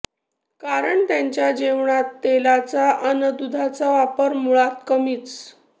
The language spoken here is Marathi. कारण त्यांच्या जेवणात तेलाचा अन् दुधाचा वापर मुळात कमीच